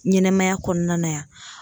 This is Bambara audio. Ɲɛnɛmaya kɔnɔna na yan